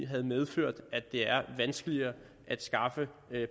har medført at det er vanskeligere at skaffe